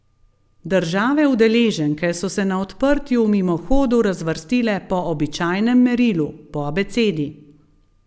Države udeleženke so se na odprtju v mimohodu razvrstile po običajnem merilu, po abecedi.